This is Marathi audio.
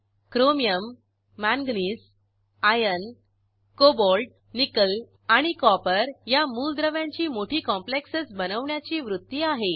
chromium manganese iron cobalt nickel आणि कॉपर या मूलद्रव्यांची मोठी कॉम्प्लेक्सेस बनवण्याची वृत्ती आहे